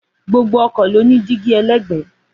Gbogbo ọkọ̀ ló ní dígí ẹlẹ́gbẹ̀ẹ́